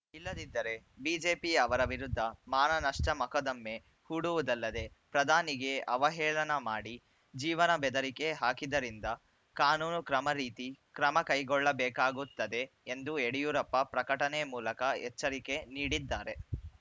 ಇಲ್ಲದಿದ್ದರೆ ಬಿಜೆಪಿ ಅವರ ವಿರುದ್ಧ ಮಾನನಷ್ಟಮೊಕದ್ದಮೆ ಹೂಡುವುದಲ್ಲದೆ ಪ್ರಧಾನಿಗೆ ಅವಹೇಳನ ಮಾಡಿ ಜೀವನ ಬೆದರಿಕೆ ಹಾಕಿದ್ದರಿಂದ ಕಾನೂನು ಕ್ರಮ ರೀತಿ ಕ್ರಮ ಕೈಗೊಳ್ಳಬೇಕಾಗುತ್ತದೆ ಎಂದು ಯಡಿಯೂರಪ್ಪ ಪ್ರಕಟಣೆ ಮೂಲಕ ಎಚ್ಚರಿಕೆ ನೀಡಿದ್ದಾರೆ